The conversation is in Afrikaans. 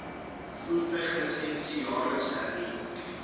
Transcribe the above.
voertuiglisensie jaarliks hernu